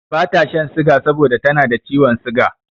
Bata shan siga saboda tana da ciwon siga.